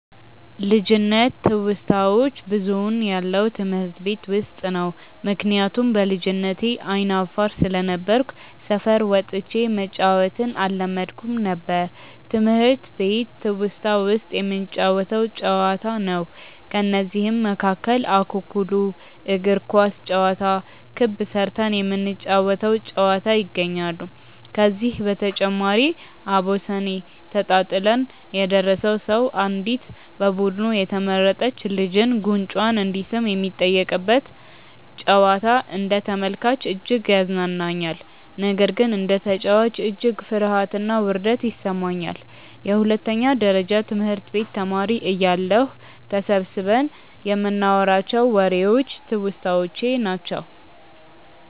ልጅነት ትውስታዋች ብዙውን ያለው ትምህርት ቤት ውስጥ ነው። ምክንያቱም በልጅነቴ አይነ አፋር ስለነበርኩ ሰፈር ወጥቼ መጫዎትን አለመድኩም ነበር። ትምህርት ቤት ትውስታ ውስጥ የምንጫወተው ጨዋታ ነው። ከነዚህም መካከል እኩኩሉ፣ እግር ኳስ ጨዋታ፣ ክብ ስርተን የምንጫወ ተው ጨዋታ ይገኛሉ። ከዚህ በተጨማሪም አቦሰኔ ተጣጥለን የደረሰው ሰው አንዲት በቡዱኑ የተመረጥች ልጅን ጉንጯን እንዲስም የሚጠየቅበት ጨዋታ አንደ ተመልካች እጅግ ያዝናናኛል። ነገር ግን እንደ ተጨዋች እጅግ ፍርሀትና ውርደት ይሰማኛል። የሁለተኛ ደረጀ ትምህርት ቤት ተማሪ እያለሁ ተሰብስበን ይንናዋራቸው ዎሬዎች ትውስታዎቼ ናቸው።